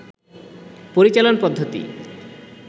পরিচালন পদ্ধতি